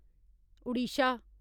Odisha